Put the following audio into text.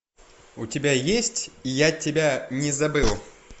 у тебя есть я тебя не забыл